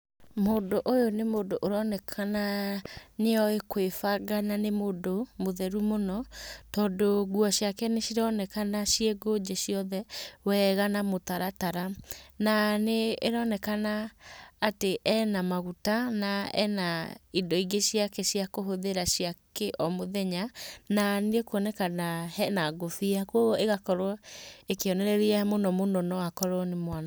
Mũndũ ũyũ nĩ mũndũ ũronekana nĩ oĩ kwĩbanga na nĩ mũndũ mũtheru mũno, tondũ nguo ciake nĩ cironekana ciĩ ngũnje ciothe, wega na mũtaratara. Na nĩ ĩronekana atĩ ena maguta na ena indo ingĩ ciake cia kũhũthĩra cia kĩ o mũthenya, na nĩ ĩkunekana hena ngobia, kũguo ĩgakorwo ĩkĩonereria mũno mũno no akorwo nĩ mwanake.